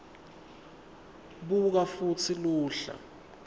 buka futsi luhla